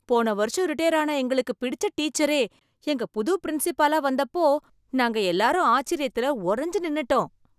போன வருஷம் ரிடையர் ஆன எங்களுக்குப் பிடிச்ச டீச்சரே எங்க புது பிரின்சிபாலா வந்தப்போ நாங்க எல்லாரும் ஆச்சரியத்துல உறைஞ்சு நின்னுட்டோம்.